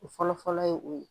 O fɔlɔ fɔlɔ ye o ye